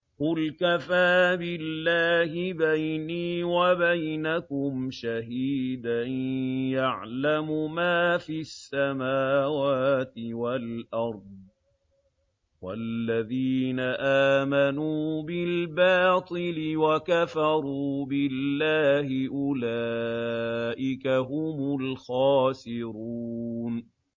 قُلْ كَفَىٰ بِاللَّهِ بَيْنِي وَبَيْنَكُمْ شَهِيدًا ۖ يَعْلَمُ مَا فِي السَّمَاوَاتِ وَالْأَرْضِ ۗ وَالَّذِينَ آمَنُوا بِالْبَاطِلِ وَكَفَرُوا بِاللَّهِ أُولَٰئِكَ هُمُ الْخَاسِرُونَ